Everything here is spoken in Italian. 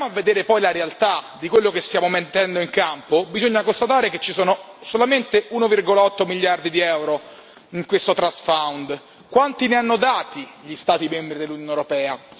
Ma se andiamo a vedere poi la realtà di quello che stiamo mettendo in campo, bisogna constatare che ci sono solamente 1,8 miliardi di euro in questo Trust Fund Quanti ne hanno dati gli Stati membri dell'Unione europea?